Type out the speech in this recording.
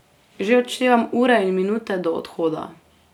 Že odštevam ure in minute do odhoda.